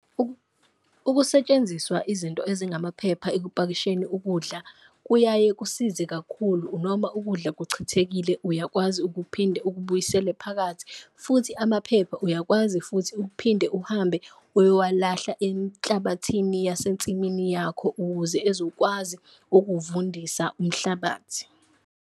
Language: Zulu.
Ukusetshenziswa izinto ezingamaphepha ekupakisheni ukudla kuyaye kusize kakhulu, noma ukudla kuchithekile uyakwazi ukuphinde ukubuyisele phakathi. Futhi amaphepha uyakwazi futhi ukuphinde uhambe uyowalahla enhlabathini yasensimini yakho, ukuze ezokwazi ukuvundisa umhlabathi.